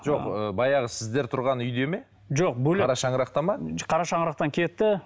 жоқ ыыы баяғы сіздер тұрған үйде ме жоқ бөлек қара шаңырақта ма қара шаңырақтан кетті